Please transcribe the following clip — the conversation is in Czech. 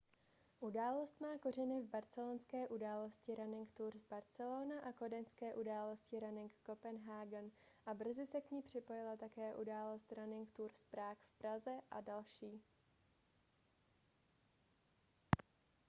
událost má kořeny v barcelonské události running tours barcelona a kodaňské události running copenhagen a brzy se k ní připojila také událost running tours prague v praze a další